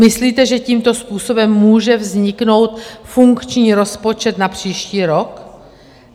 Myslíte, že tímto způsobem může vzniknout funkční rozpočet na příští rok?